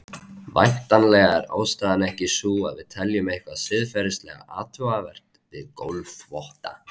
Væntanlega er ástæðan ekki sú að við teljum eitthvað siðferðilega athugavert við gólfþvotta.